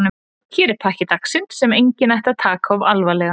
Hér er pakki dagsins sem enginn ætti að taka of alvarlega.